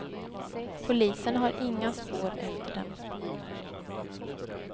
Polisen har inga spår efter dem.